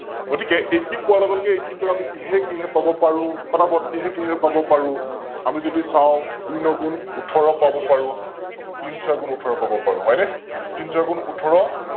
গতিকে Eighteen পোৱাৰ লগে লগে Eighteen টোক আমি কিহে কিহে পাব পাৰো? পতা পত, কিহে কিহে পাব পাৰো? আমি যদি চাও দুই ন গুণ উঠৰ পাব পাৰো তিনি ছয় গুণ উঠৰ পাব পাৰো, হয়নে? তিন ছয় গুণ উঠৰ